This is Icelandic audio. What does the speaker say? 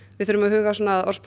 við þurfum að huga að orðspori